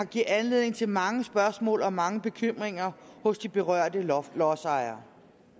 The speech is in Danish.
giver anledning til mange spørgsmål og mange bekymringer hos de berørte lodsejere